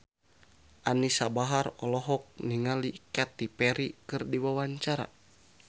Anisa Bahar olohok ningali Katy Perry keur diwawancara